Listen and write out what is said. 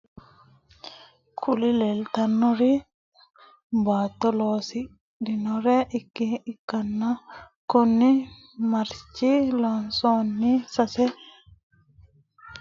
Kuri lelitanori batto loonisanire ikana kurino maricha, moroda, sasse leka zaffa ikan maricha horronisinemoha batto wissate ikana kone sasse lekaha kayinila winisoniha chanichate horronisinaniho.